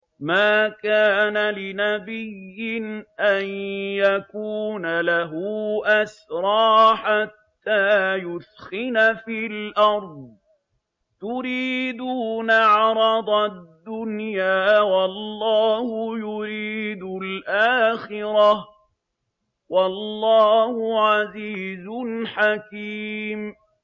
مَا كَانَ لِنَبِيٍّ أَن يَكُونَ لَهُ أَسْرَىٰ حَتَّىٰ يُثْخِنَ فِي الْأَرْضِ ۚ تُرِيدُونَ عَرَضَ الدُّنْيَا وَاللَّهُ يُرِيدُ الْآخِرَةَ ۗ وَاللَّهُ عَزِيزٌ حَكِيمٌ